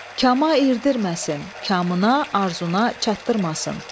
Kama irdirməsin, kamına, arzusuna çatdırmasın.